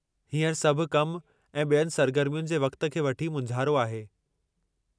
हींअर सभु कम ऐं ॿियनि सरगरमियुनि जे वक़्त खे वठी मुंझियलु आहे।